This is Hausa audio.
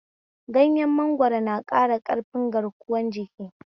Ganyen mangwaro na ƙara ƙarfin garkuwan jiki